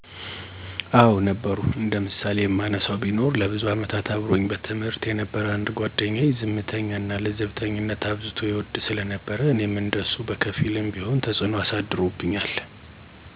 አወ ነበሩ። እንደ ምሳሌ የማነሳው ቢኖር ለብዙ አመታት አብሮኝ በትምህርት የነበረ አንድ ጓደኛየ፤ ዝምተኝነት እና ለዘብተኝነትን አብዝቶ ይወድ ስለነበር እኔም እንደ እሱ በከፊልም ቢሆን ተጽዕኖ አሳድሮብኛል።